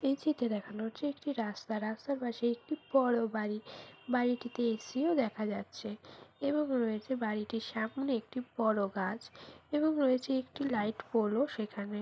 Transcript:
এই চিত্রে দেখানো হচ্ছে একটি রাস্তা আছে পাশে একটি বড়ো বাড়ি বাড়িটিতে এ. সি ও দেখা যাচ্ছে এবং রয়েছে বাড়িটির সামনে একটি বড়ো গাছ এবং রয়েছে একটি লাইট পোল ও সেখানে।